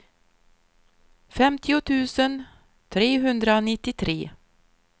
femtio tusen trehundranittiotre